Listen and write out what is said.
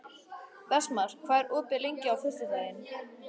Vestmar, hvað er opið lengi á föstudaginn?